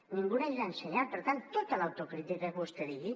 ningú neix ensenyat per tant tota l’autocrítica que vostè digui